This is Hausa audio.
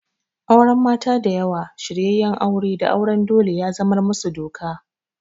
Auren mata da yawa, shiryenyen aure da auren dole ya zamar musu doka.